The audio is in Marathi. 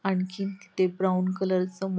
आणखीन तिथे ब्राऊन कलरच --